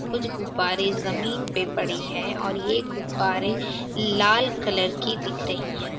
कुछ गुब्बारे जमीन पे पड़े हैं और ये गुब्बारे लाल कलर की दिख रही हैं।